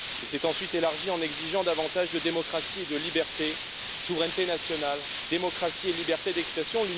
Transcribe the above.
Il s'est ensuite élargi en exigeant davantage de démocratie et de liberté, de souveraineté nationale, de démocratie et de liberté d'expression.